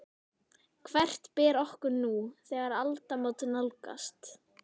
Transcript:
Hvert ber okkur nú, þegar aldamót nálgast?